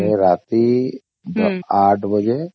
ଆଉ ସେଇ ରାତି ୮ ବାଜେ